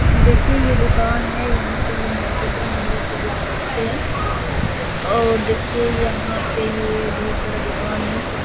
देखिये ये दुकान है यहाँ पे ये मार्केटिंग है जैसी देख सकते है और देखे यहाँ पे ये ढेर सारा दुकान है सब।